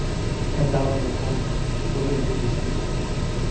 Ka daawo muuqaalka bogga BBC-da.